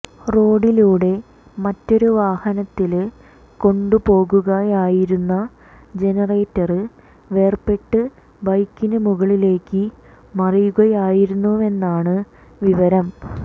റോഡിലൂടെ മറ്റൊരുവാഹനത്തില് കൊണ്ടുപോകുകയായിരുന്ന ജനറേറ്റര് വേര്പെട്ട് ബൈക്കിന് മുകളിലേക്ക് മറിയുകയായിരുന്നുവെന്നാണ് വിവരം